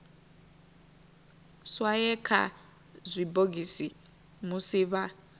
swaye kha zwibogisi musi vha